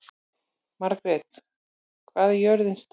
Margret, hvað er jörðin stór?